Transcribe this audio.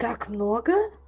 так много